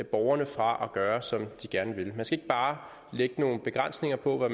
borgerne fra at gøre som de gerne vil man skal ikke bare lægge nogle begrænsninger på hvad